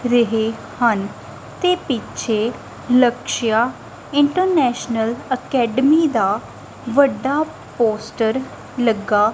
ਰਹੇ ਹਨ ਤੇ ਪਿੱਛੇ ਲਕਸ਼ਿਆ ਇੰਟਰਨੈਸ਼ਨਲ ਅਕੈਡਮੀ ਦਾ ਵੱਡਾ ਪੋਸਟਰ ਲੱਗਾ--